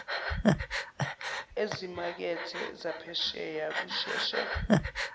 ezimakethe zaphesheya kusheshe